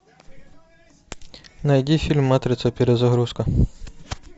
найди фильм матрица перезагрузка